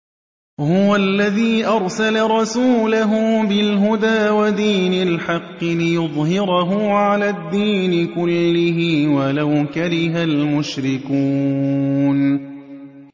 هُوَ الَّذِي أَرْسَلَ رَسُولَهُ بِالْهُدَىٰ وَدِينِ الْحَقِّ لِيُظْهِرَهُ عَلَى الدِّينِ كُلِّهِ وَلَوْ كَرِهَ الْمُشْرِكُونَ